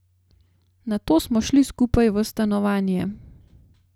Nato smo šli skupaj v stanovanje.